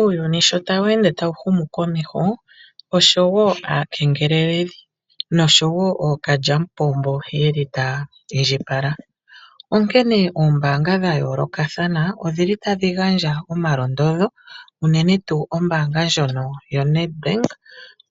Uuyuni sho tawu ende tawu humu komeho, osho woo aakengeleledhi nosho woo ookalyamupombo yeli taya indjipala, onkene oombaanga dha yoolokathana odhili tadhi gandja omalondodho unene tuu ombaanga ndjono yoNedBank,